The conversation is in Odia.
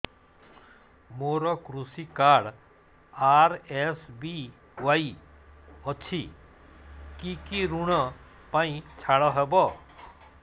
ମୋର କୃଷି କାର୍ଡ ଆର୍.ଏସ୍.ବି.ୱାଇ ଅଛି କି କି ଋଗ ପାଇଁ ଛାଡ଼ ହବ